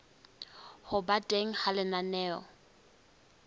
ho ba teng ha lenaneo